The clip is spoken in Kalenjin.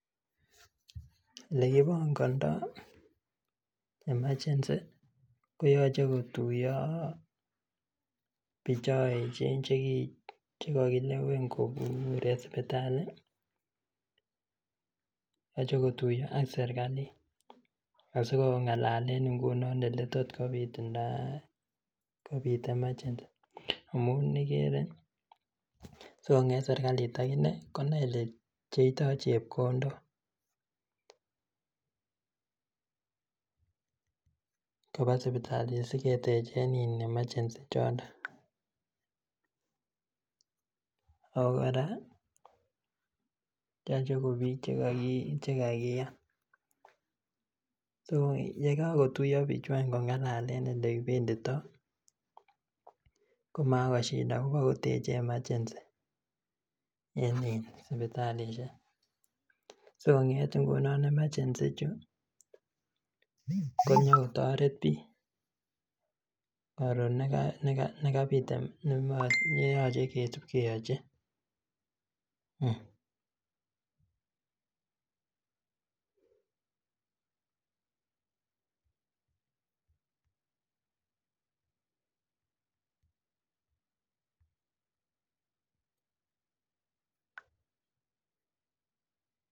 Elekibongondoo emergency ko yoche kotuiyo biik chon echen chekokilewen kobur en sipitali yoche kotuiyo ak serkalit asikong'alalen ngunon eleltot kobitunda kobit emergency amun ikere sikong'et serkalit akinee konai elepcheitoo chepkondok koba sipitali asiketechen in emergency chondon. Ako kora yoche ko biik chekakiyan so yekakotuiyo bichu any kong'alalen elekibenditoo komako shida kobakoteche emergency en in sipitalisiek sikong'et ngunon emergency ichu konyokotoret biik koron yekabit neyoche kesib keyochi